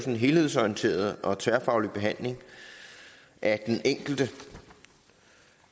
en helhedsorienteret og tværfaglig behandling af den enkelte